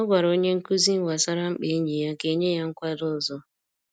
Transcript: Ọ gwara onye nkuzi gbasara mkpa enyi ya ka e nye ya nkwado ọzọ